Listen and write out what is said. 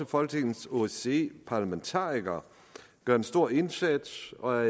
folketingets osce parlamentarikere gør en stor indsats og